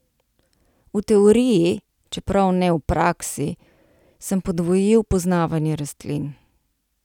V teoriji, čeprav ne v praksi, sem podvojil poznavanje rastlin.